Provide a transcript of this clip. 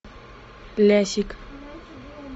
лясик